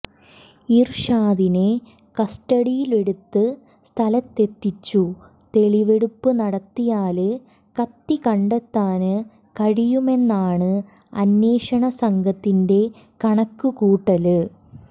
ഇര്ഷാദിനെ കസ്റ്റഡിയിലെടുത്ത് സ്ഥലത്തെത്തിച്ചു തെളിവെടുപ്പു നടത്തിയാല് കത്തി കണ്ടെത്താന് കഴിയുമെന്നാണ് അന്വേഷണ സംഘത്തിന്റെ കണക്ക് കൂട്ടല്